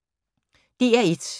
DR1